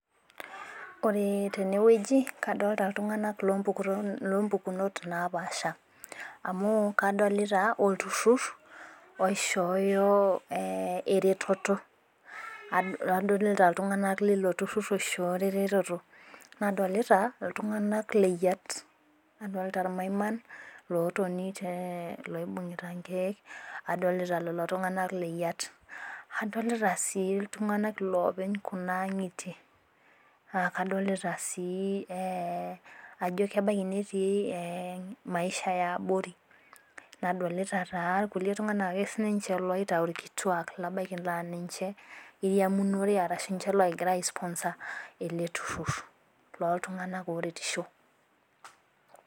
Ore teneweji kadolita iltung'ana loo mpukunot naapasha amu kadolita olturur loishoyo ereteto adolita lilo turur oishoyo eretoto nadolita iltung'ana leyiat nadolita irmaiman lootoni loibung'ita nkeek adolita lelo tung'ana lee yat adolita sii iltung'ana loopeny kuna ang'itie aa kadolita sii ajo ebaki neetii maisha ee abori nadolita kulie tung'ana ake sii ninche loitayu irkituak labakii naa ninche irmanure ashu ninche logira aii sponsor ele turur loo ltung'ana oo retisho.